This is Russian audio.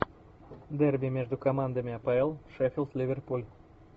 дерби между командами апл шеффилд ливерпуль